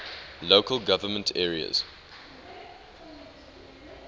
local government areas